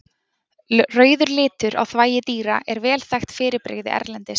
Rauður litur á þvagi dýra er vel þekkt fyrirbrigði erlendis.